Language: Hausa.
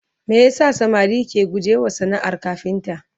me yasa samari ke guje wa sanaar kafinta?